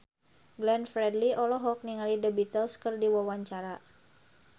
Glenn Fredly olohok ningali The Beatles keur diwawancara